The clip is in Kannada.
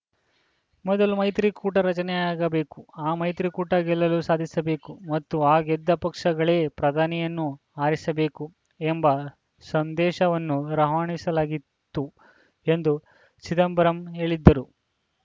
ಮೊದಲು ಮೈತ್ರಿಕೂಟ ರಚನೆಯಾಗಬೇಕು ಆ ಮೈತ್ರಿಕೂಟ ಗೆಲಲು ಸಾಧಿಸಬೇಕು ಮತ್ತು ಆ ಗೆದ್ದ ಪಕ್ಷಗಳೇ ಪ್ರಧಾನಿಯನ್ನು ಆರಿಸಬೇಕು ಎಂಬ ಸಂದೇಶವನ್ನು ರವಾನಿಸ ಲಾಗಿತ್ತು ಎಂದು ಚಿದಂಬರಂ ಹೇಳಿದ್ದರು